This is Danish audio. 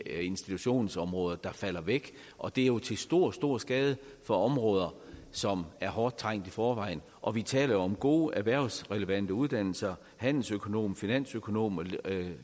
institutionsområderne der falder væk og det er jo til stor stor skade for områder som er hårdt trængt i forvejen og vi taler om gode erhvervsrelevante uddannelser handelsøkonom finansøkonom og